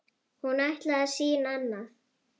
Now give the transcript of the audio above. Hún ætlaði að sýna annað.